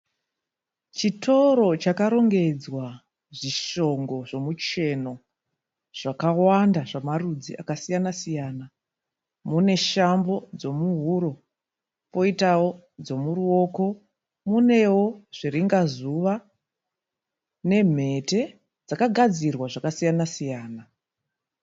Chitoro chakarongedzwa zvishongo zvomucheno zvakawanda zvamarudzi akasiyana siyana. Mune shambo dzomuhuro poitawo dzomuroko munewo zviringazuva nemhete dzakagadzirwa zvakasiyana siyana.